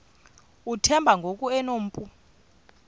uthemba ngoku enompu